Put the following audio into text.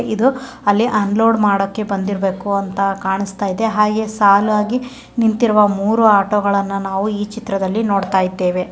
ಇದು ಅಲ್ಲೆ ಅನ್ಲೋಡ್ ಮಾಡಕ್ಕೆ ಬಂದಿರ್ಬೇಕು ಅಂತ ಕಾಣುಸ್ತಾಯಿದೆ ಹಾಗೆ ಸಾಲಾಗಿ ನಿಂತಿರುವ ಮೂರು ಆಟೋ ಗಳನ್ನ ನಾವು ಈ ಚಿತ್ರದಲ್ಲಿ ನೋಡ್ತಾ ಇದ್ದೇವೆ.